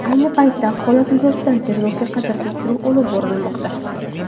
Ayni paytda holat yuzasidan tergovga qadar tekshiruv olib borilmoqda.